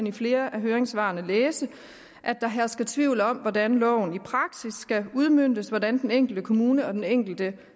i flere af høringssvarene læse at der hersker tvivl om hvordan loven i praksis skal udmøntes hvordan den enkelte kommune og den enkelte